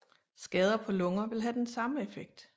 Skader på lunger vil have den samme effekt